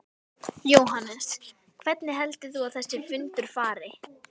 Jóhannes: Hvernig heldur þú að þessi fundur fari?